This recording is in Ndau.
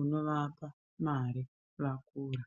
unovapa mare vakura.